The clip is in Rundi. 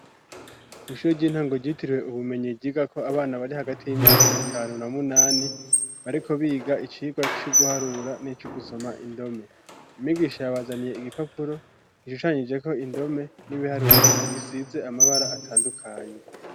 Kw'ishure ry'intango ryitiriwe ubumenyi ryigako abana bari hagati y'imyaka itanu na munani, bariko biga icirwa co guharura n'ico gusoma indome. Umwigisha yabazaniye igipapuro gishushanyijeko indome n'ibiharuro bisize amabara atandukanye.